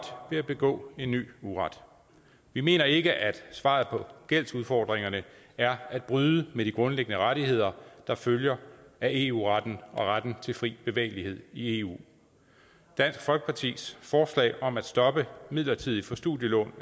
ved at begå en ny uret vi mener ikke at svaret på gældsudfordringerne er at bryde med de grundlæggende rettigheder der følger af eu retten og retten til fri bevægelighed i eu dansk folkepartis forslag om at stoppe midlertidigt for studielån